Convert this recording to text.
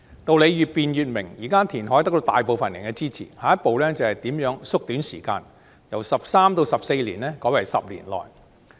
道理越辯越明，現時填海得到大部分人的支持，下一步是如何縮短時間，由13年至14年改為10年內。